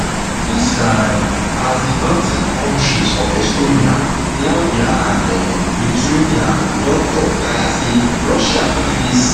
dis na um as di baltic kontris of estonia latvia and um lithuania don tok taya say russia fit face